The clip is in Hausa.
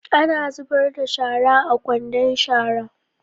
Ana zubar da shara a kwandon shara.